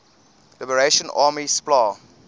liberation army spla